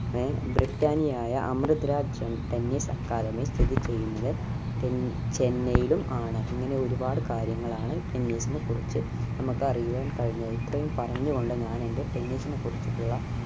ഏർ ബ്രിട്ടാണിയായ Amrit Raj tennis academy സ്ഥിതി ചെയ്യുന്നത് ചെ ചെന്നൈയിലും ആണ് ഇങ്ങനെ ഒരുപാട് കാര്യങ്ങൾ ആണ് tennis നെ കുറിച് നമുക്ക് അറിയുവാൻ കഴിഞ്ഞത് ഇത്രയും പറഞ്ഞു കൊണ്ട് ഞാൻ എന്റെ tennis നെ കുറിച്ചിട്ടുള്ള